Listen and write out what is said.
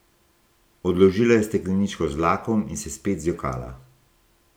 Odložila je stekleničko z lakom in se spet zjokala.